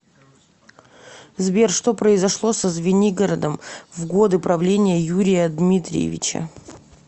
сбер что произошло со звенигородом в годы правления юрия дмитриевича